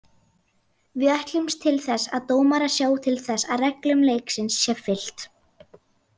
Við ætlumst til þess að dómarar sjái til þess að reglum leiksins sé fylgt.